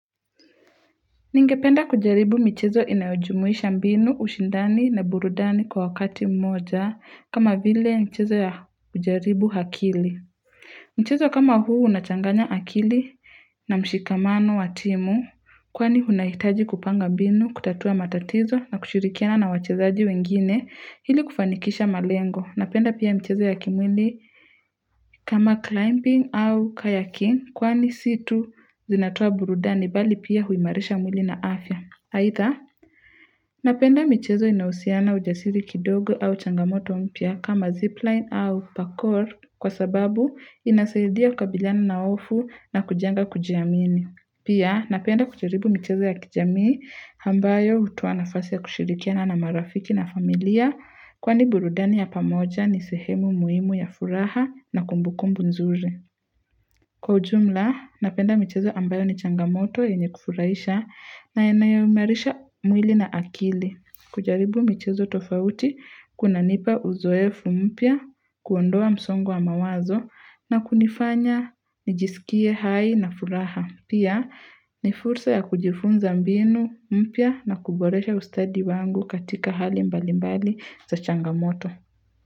Ningependa kujaribu michezo inajumuisha mbinu, ushindani na burudani kwa wakati mmoja kama vile michezo ya kujaribu akili. Mchezo kama huu unachanganya akili na mshikamano wa timu kwani unahitaji kupanga mbinu, kutatua matatizo na kushirikiana na wachezaji wengine ili kufanikisha malengo. Napenda pia michezo ya kimwili kama climbing au kayaking kwani si tu zinatoa burudani bali pia huimarisha mwili na afya. Aidha, napenda michezo inayohusiana ujasiri kidogo au changamoto mpya kama zipline au pakor kwa sababu inasaidia kukabiliana na hofu na kujenga kujiamini. Pia, napenda kujaribu michezo ya kijamii ambayo hutoa nafasi ya kushirikiana na marafiki na familia kwani burudani ya pamoja ni sehemu muhimu ya furaha na kumbukumbu nzuri. Kwa ujumla, napenda michezo ambayo ni changamoto yenye kufurahisha na yanayoimarisha mwili na akili. Kujaribu michezo tofauti, kunanipa uzoefu mpya, kuondoa msongo wa mawazo na kunifanya nijisikie hai na furaha. Pia, ni fursa ya kujifunza mbinu mpya na kuboresha ustadi wangu katika hali mbalimbali za changamoto.